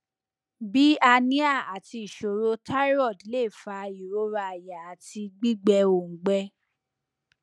bi anemia ati iṣoro thyroid le fa irora aya ati gbigbẹ oungbẹ